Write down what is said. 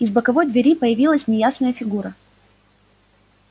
из боковой двери появилась неясная фигура